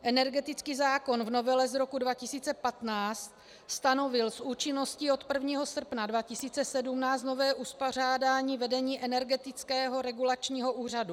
Energetický zákon v novele z roku 2015 stanovil s účinností od 1. srpna 2017 nové uspořádání vedení Energetického regulačního úřadu.